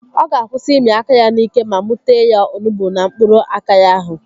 Ọ ga-akwụsị ịmị aka ya n'ike ma mụ tee ya onugbu na mkpụrụ aka ya ahụ